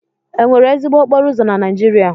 Enwere ezigbo okporo ụzọ na Naijiria?